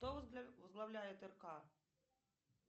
кто возглавляет рк